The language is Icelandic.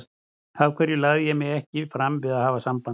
Af hverju lagði ég mig ekki fram við að hafa samband?